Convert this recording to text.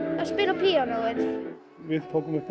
að spila á píanóið við tókum upp á